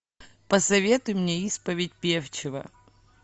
посоветуй мне исповедь певчего